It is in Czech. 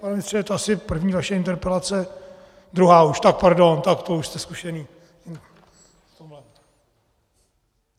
Pane ministře, je to asi první vaše interpelace , druhá už, tak pardon, tak to už jste zkušený.